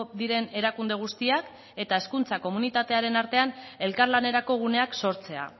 diren erakunde guztiak eta hezkuntza komunitatearen artean elkarlanerako guneak sortzea